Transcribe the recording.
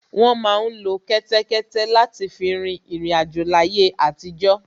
Wọ́n má ń lo kẹ́tẹ́kẹ́té láti fi rin ìriǹ àjò láyé àtijọ́